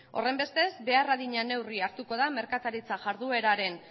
horrenbestez behar adina neurri hartuko da merkataritza jardueraren